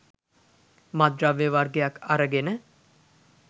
මත්ද්‍රව්‍ය වගයක් අරගෙන